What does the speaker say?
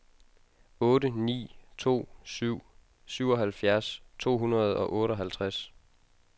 otte ni to syv syvoghalvfjerds to hundrede og otteoghalvtreds